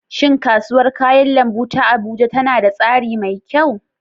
Shin Kasuwar kayan lambu ta Abuja tana da tsari mai kyau?